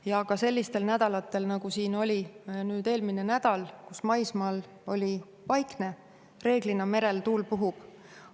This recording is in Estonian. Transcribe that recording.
Ja ka sellistel nädalatel, nagu siin oli eelmine nädal, kus maismaal oli vaikne, reeglina merel tuul puhub.